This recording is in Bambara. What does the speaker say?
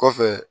Kɔfɛ